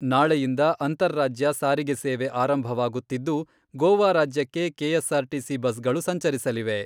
ನಾಳೆಯಿಂದ ಅಂತರಾಜ್ಯ ಸಾರಿಗೆ ಸೇವೆ ಆರಂಭವಾಗುತ್ತಿದ್ದು, ಗೋವಾ ರಾಜ್ಯಕ್ಕೆ ಕೆಎಸ್ಆರ್ಟಿಸಿ ಬಸ್ಗಳು ಸಂಚರಿಸಲಿವೆ.